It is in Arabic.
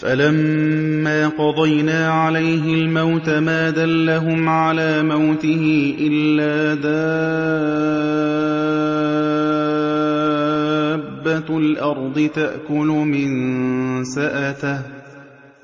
فَلَمَّا قَضَيْنَا عَلَيْهِ الْمَوْتَ مَا دَلَّهُمْ عَلَىٰ مَوْتِهِ إِلَّا دَابَّةُ الْأَرْضِ تَأْكُلُ مِنسَأَتَهُ ۖ